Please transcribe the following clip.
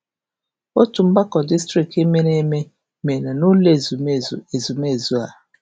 Otu mgbakọ distrikti um mere eme mere n'ụlọ ezumezu ezumezu a.